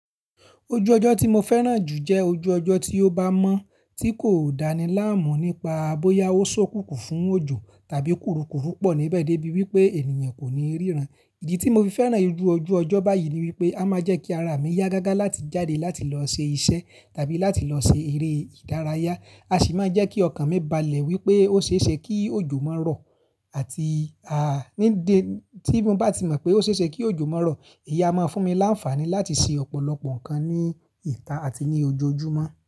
Ojú ọjọ́ tí mo fẹ́ràn jù jẹ ojú ọjọ́ tí ó bá mọ́ tí kò dáni láàmú nípaa boyá ó ṣókùnkùn fún òjò tàbí kúrukùru pọ̀ níbẹ̀ dé bí wí pé ènìyàn kò ní ríran. Ìdí tí mo fi fẹ́ràn irú ojú ọjọ́ báyìí ni wí pé a máa jẹ́ kí ara mi yá gágá láti jáde láti lọ ṣe iṣẹ́ tàbí láti lọ ṣe eré ìdárayá. A sì máa jẹ́ kí ọkàn mi balẹ̀ wí pé ó ṣeéṣe kí òjò má rọ̀ àti ní dé tí mo bá ti mọ̀ pé ó ṣe é ṣe kí òjò má rọ̀, èyí a máa fún mi láǹfààní láti ṣe ọ̀pọ̀lọpọ̀ nǹkan ní ìta àti ní ojoojúmọ́.